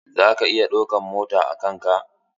Zaka iya ɗauka mota a kan ka?